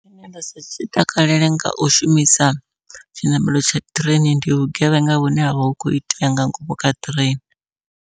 Tshine nda sa tshi takalele ngau shumisa tshiṋamelo tsha ṱireini, ndi vhugevhenga vhune havha hu kho itea nga ngomu kha ṱireini.